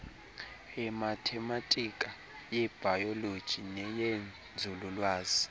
yemathematika yebhayoloji neyenzululwazi